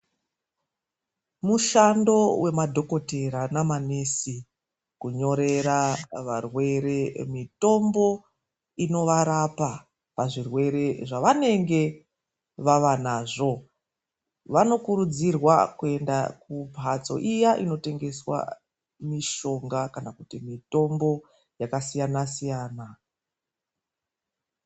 Mushando wemadhokotera ne ma nesi kunyorera varwere mitombo inovarapa pazvirwere zvavanenge vavanazvo ,vanokuridzirwa kuenda kumbatso iya inotengesa mitombo kana mishonga yakasiyana -siyana.